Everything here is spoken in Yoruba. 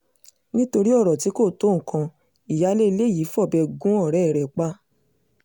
nítorí ọ̀rọ̀ tí kò tó nǹkan ìyáálé ilé yìí fọbẹ́ gun ọ̀rẹ́ rẹ̀ pa